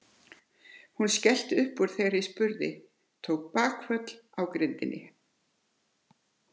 Hún skellti upp úr þegar ég spurði, tók bakföll á grindinni.